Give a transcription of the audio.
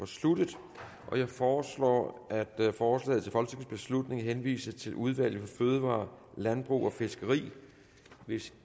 sluttet jeg foreslår at forslaget til folketingsbeslutning henvises til udvalget for fødevarer landbrug og fiskeri hvis